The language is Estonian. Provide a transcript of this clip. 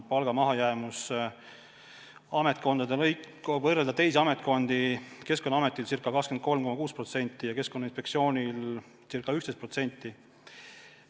Palga mahajäämus, kui võrrelda teiste ametkondadega, on Keskkonnaametil ca 23,6% ja Keskkonnainspektsioonil ca 11%.